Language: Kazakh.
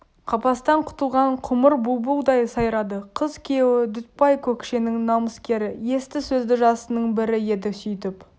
қапастан құтылған құмыр бұлбұлдай сайрады қыз күйеуі дүтбай көкшенің намыскері есті сөзді жасының бірі еді сүйтіп